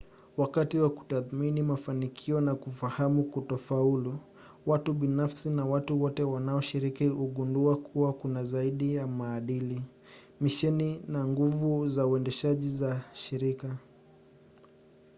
wakati wa kutathmini mafanikio na kufahamu kutofaulu watu binafsi na watu wote wanaoshiriki hugundua kwa kina zaidi maadili misheni na nguvu za uendeshaji za shirika